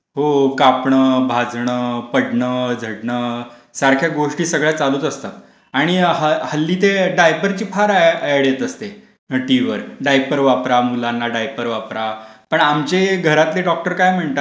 हो, कापण, भाजण, पडण, झडण, सारख्या गोष्टी सारख्या चालूच असतात. आणि हल्ली ते डायपर ची फार एड येत असते. टीव्हीवर डायपर वापरा मुलांना डायपर वापरा, पण आमचे घरातले डॉक्टर काय म्हणतात,